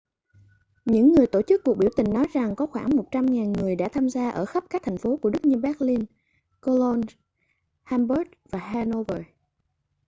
những người tổ chức cuộc biểu tình nói rằng có khoảng 100.000 người đã tham gia ở khắp các thành phố của đức như berlin cologne hamburg và hanover